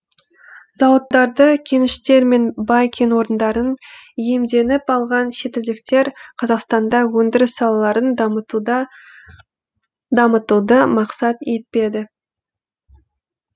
зауыттарды кеніштер мен бай кен орындарын иемденіп алған шетелдіктер қазақтанда өндіріс салаларын дамытуды мақсат етпеді